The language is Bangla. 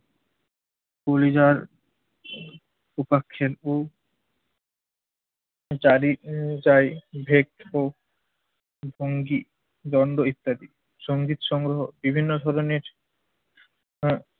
পরিযার উপাক্ষের ও চারি উহ চারি ও পঙ্খী দণ্ড ইত্যাদি। সঙ্গীত সংগ্রহ বিভিন্ন ধরণের হা